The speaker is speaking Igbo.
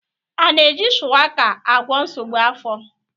A na-eji shuwaka agwọ nsogbu afọ?